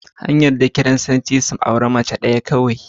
An yarda Kiristoci su auri mace ɗaya kawai.